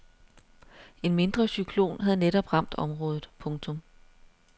En mindre cyklon havde netop ramt området. punktum